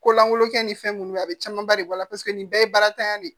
Ko lankolon kɛ ni fɛn minnu a bɛ camanba de bɔ a la paseke nin bɛɛ ye barantanya de ye